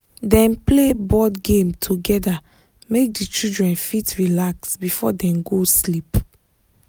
dem play board game together make the children fit relax before them go sleep